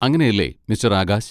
അങ്ങനെയല്ലേ, മിസ്റ്റർ ആകാശ്?